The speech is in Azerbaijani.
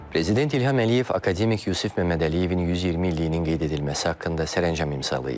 Prezident İlham Əliyev akademik Yusif Məmmədəliyevin 120 illiyinin qeyd edilməsi haqqında sərəncam imzalayıb.